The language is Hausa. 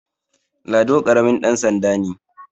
Lado karamin dansanda ne